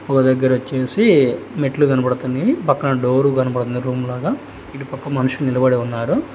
ఒక దగ్గర వచ్చేసి మెట్లు కనపడుతుంది పక్కన డోర్ కనపడుతుంది రూమ్ లాగా ఇటు పక్క మనిషి నిలబడి ఉన్నాడు.